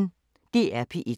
DR P1